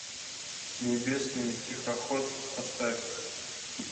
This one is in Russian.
небесный тихоход поставь